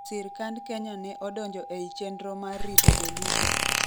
sirkand kenya ne odonjo ei chenro mar rito jolupo